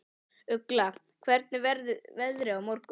Ugla, hvernig verður veðrið á morgun?